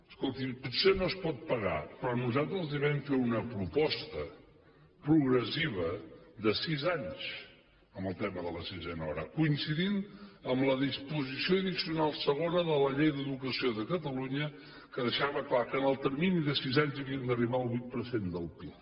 escolti potser no es pot pagar però nosaltres els vam fer una proposta progressiva de sis anys amb el tema de la sisena hora que coincidia amb la disposició addicional segona de la llei d’educació de catalunya que deixava clar que en el termini de sis anys havíem d’arribar al vuit per cent del pib